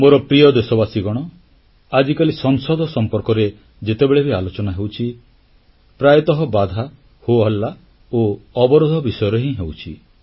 ମୋର ପ୍ରିୟ ଦେଶବାସୀଗଣ ଆଜିକାଲି ସଂସଦ ସମ୍ପର୍କରେ ଯେତେବେଳେ ବି ଆଲୋଚନା ହେଉଛି ପ୍ରାୟତଃ ବାଧା ହୋହଲ୍ଲା ଓ ଅବରୋଧ ବିଷୟରେ ହିଁ ହେଉଛି